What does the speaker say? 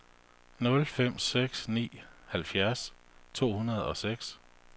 nul fem seks ni halvtreds to hundrede og seks